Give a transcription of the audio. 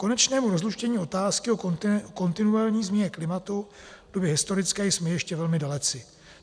Konečnému rozluštění otázky o kontinuální změně klimatu v době historické jsme ještě velmi daleci.